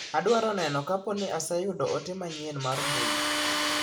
Adwaro neno kaponi aseyudo ote manyien mar mbui.